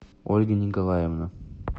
ольга николаевна